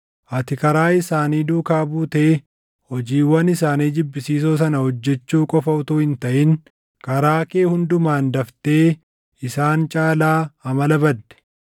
Ati karaa isaanii duukaa buutee hojiiwwan isaanii jibbisiisoo sana hojjechuu qofa utuu hin taʼin karaa kee hundumaan daftee isaan caalaa amala badde.